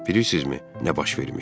Bilirsizmi nə baş vermişdi?